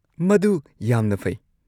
ꯃꯗꯨ ꯌꯥꯝꯅ ꯐꯩ꯫